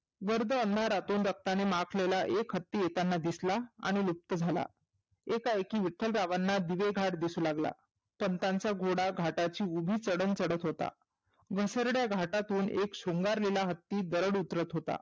गर्द अंधारातून रक्ताने माखलेला एक हत्ती येताना दिसला आणि लुप्त झाला. एका एकी विठ्ठलरावांना दिवे घाट दिसू लागला. पंतांचा घोडा घाटाची उभी चढन चढत होता. विसर्ग घाटातून एक शृंगारलेला हत्ती दरड उतरत होता.